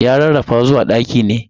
Ya rarrafa zuwa ɗaki ne.